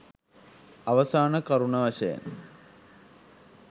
අවසාන කරුණ වශයෙන්